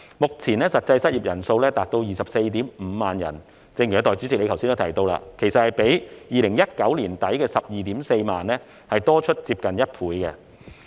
目前，實際失業人數達 245,000 人，正如代理主席剛才提到，這其實比2019年年底的 124,000 人多出接近1倍。